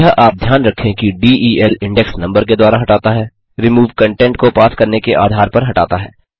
यह आप ध्यान रखें कि del इंडेक्स नम्बर के द्वारा हटाता है removeकंटेंट को पास करने के आधार पर हटाता है